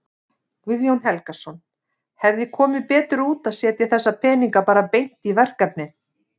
Guðjón Helgason: Hefði komið betur út að setja þessa peninga bara beint í verkefnið?